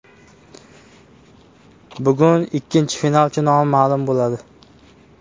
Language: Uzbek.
Bugun ikkinchi finalchi nomi ma’lum bo‘ladi.